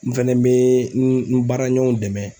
N fɛnɛ bɛ n baaraɲɔgɔnw dɛmɛ